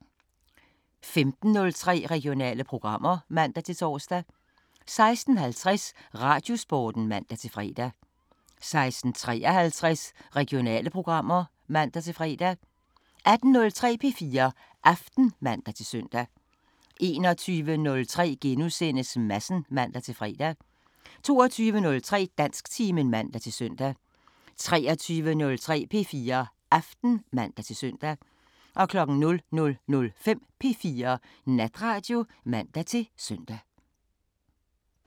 15:03: Regionale programmer (man-tor) 16:50: Radiosporten (man-fre) 16:53: Regionale programmer (man-fre) 18:03: P4 Aften (man-søn) 21:03: Madsen *(man-fre) 22:03: Dansktimen (man-søn) 23:03: P4 Aften (man-søn) 00:05: P4 Natradio (man-søn)